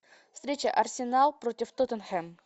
встреча арсенал против тоттенхэм